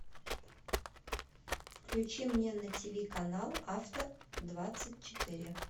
включи мне на ти ви канал авто двадцать четыре